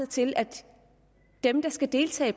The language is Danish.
til at dem der skal deltage i